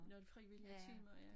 Nogen frivillige timer ja